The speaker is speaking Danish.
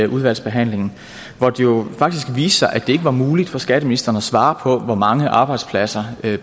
udvalgsbehandlingen hvor det jo faktisk viste sig at det ikke var muligt for skatteministeren at svare på hvor mange arbejdspladser